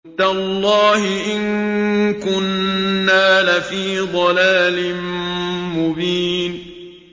تَاللَّهِ إِن كُنَّا لَفِي ضَلَالٍ مُّبِينٍ